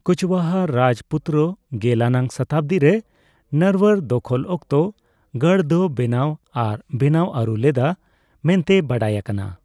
ᱠᱩᱪᱣᱟᱦᱟ ᱨᱟᱡᱯᱩᱛᱚᱨᱟ ᱜᱮᱞ ᱟᱱᱟᱜ ᱥᱚᱛᱟᱵᱫᱤ ᱨᱮ ᱱᱟᱨᱣᱟᱨ ᱫᱚᱠᱷᱚᱞ ᱚᱠᱛᱚ ᱜᱟᱲ ᱫᱚ ᱵᱮᱱᱟᱣ ᱟᱨ ᱵᱮᱱᱟᱣ ᱟᱹᱨᱩ ᱞᱮᱫᱼᱟ ᱢᱮᱱᱛᱮ ᱵᱟᱰᱟᱭ ᱟᱠᱟᱱᱟ ᱾